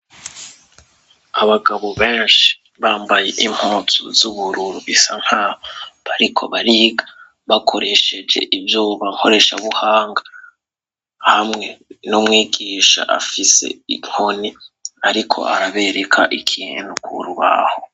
Abagabo benshi bambaye impuzu z'ubururu bisa nk'aho ariko bariga bakoresheje ivyuma nkoreshabuhanga hamwe n'umwigisha afise inkoni ariko arabereka ikintu ku rubaho.